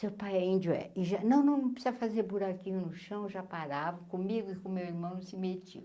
Seu pai é índio, é. e já Não precisa fazer buraquinho no chão, já paravam comigo e com meu irmão, não se metiam.